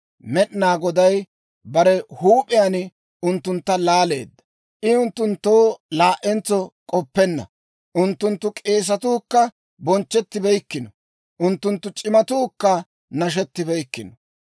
Med'inaa Goday bare huup'iyaan unttuntta laaleedda; I unttunttoo laa"entso k'oppenna. Unttunttu k'eesatuu kka bonchchettibeykkino; unttunttu c'imatuukka nashettibeykkino.